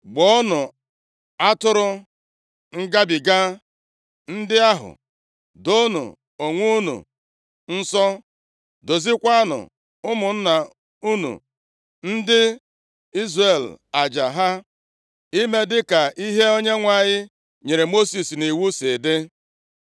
Gbuonụ atụrụ ngabiga ndị ahụ, doonụ onwe unu nsọ, doziekwaranụ ụmụnna unu ndị Izrel aja ha, ime dịka ihe Onyenwe anyị nyere Mosis nʼiwu si dị.”